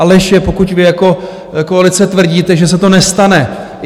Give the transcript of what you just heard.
A lež je, pokud vy jako koalice tvrdíte, že se to nestane.